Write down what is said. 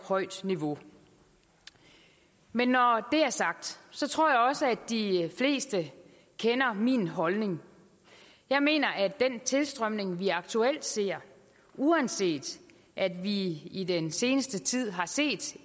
højt niveau men når det er sagt så tror jeg også at de fleste kender min holdning jeg mener at den tilstrømning vi aktuelt ser uanset at vi i den seneste tid har set